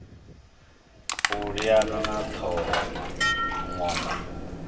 u liana na ṱhoho ṅwongo